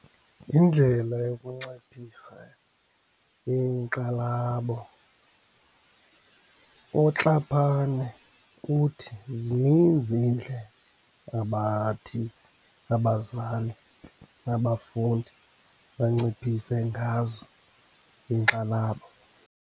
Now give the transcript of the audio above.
Indlela yokunciphisa inkxalabo. UTlhapane uthi zininzi iindlela abathi abazali nabafundi banciphise ngazo inkxalabo.